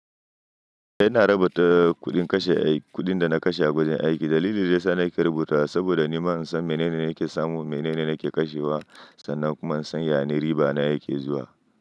Ina rubata kuɗin kashe aiki, kuɗin dana kashe a gurin aiki. Dalilin da yasa nake rubuta saboda nima in san menene nake samu, menene nake kashewa sannan kuma in san yane riba na yake zuwa.